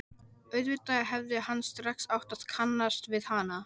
Auðvitað hefði hann strax átt að kannast við hana.